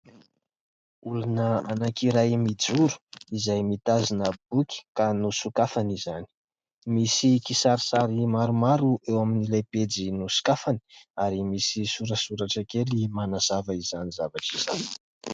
Olona anankiray mijoro izay mitazona boky ka nosokafany izany. Misy kisarisary maromaro eo amin'ilay pejy nosokafany ary misy sorasoratra kely manazava izany zavatra izany.